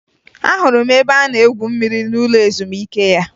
Ahụrụ m ebe a na-egwu mmiri n'ụlọ ezumike ya